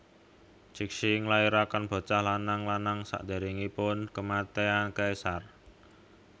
Cixi nglahirakén bocah lanang lanang sakdéréngipun kèmatian kaisar